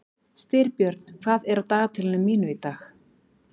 Styrbjörn, hvað er á dagatalinu mínu í dag?